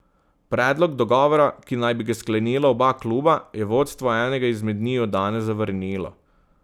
Predlog dogovora, ki naj bi ga sklenila oba kluba, je vodstvo enega izmed njiju danes zavrnilo.